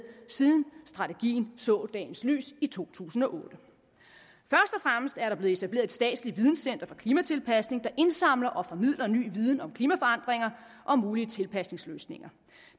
siden strategien så dagens lys i to tusind og otte først og fremmest er der blevet etableret et statsligt videncenter for klimatilpasning der indsamler og formidler ny viden om klimaforandringer og mulige tilpasningsløsninger